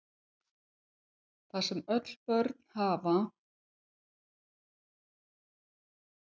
Það sem öll börn hafa